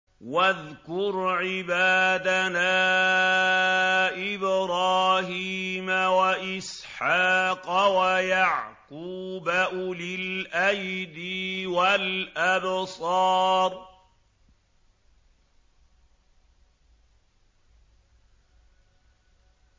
وَاذْكُرْ عِبَادَنَا إِبْرَاهِيمَ وَإِسْحَاقَ وَيَعْقُوبَ أُولِي الْأَيْدِي وَالْأَبْصَارِ